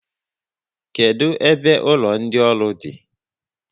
Kedụ ebe ụlọ ndị ọrụ di?